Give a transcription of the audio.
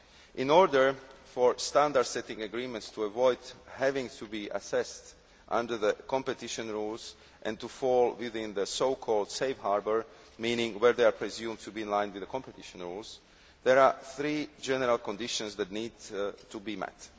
In order for standard setting agreements to avoid having to be assessed under the competition rules and to fall within the so called safe harbour meaning where they are presumed to be in line with the competition rules there are three general conditions that need to be met.